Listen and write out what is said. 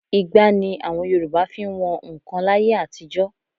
Igbá ni Yorùbá fi ń wọn nnkan láyé àtijọ́